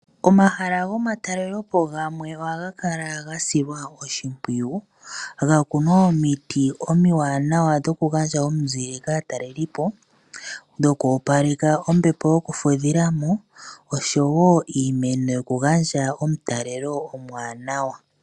Omahala go matalelepo gamwe ohaga kala ga silwa oshimpwiyu. Ga kunwa omiti omiwanawa dhoku gandja omizile kaatalelipo, dhoku opaleka ombepo yoku fudhilamo, oshowo iimeno yoku gandja omutalelo omuwanawa.